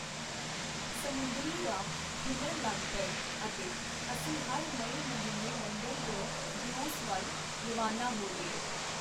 ਸਮੁੰਦਰੀ ਰਾਹ ਖੁੱਲ੍ਹਣ ਲਗ ਪਏ, ਅਤੇ ਅਸੀਂ ਮਈ ਮਹੀਨੇ ਲੰਡਨ ਤੋਂ ਦਿਓਸ ਵਲ ਰਵਾਨਾ ਹੋ ਗਏ.